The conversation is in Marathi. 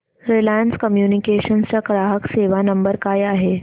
रिलायन्स कम्युनिकेशन्स चा ग्राहक सेवा नंबर काय आहे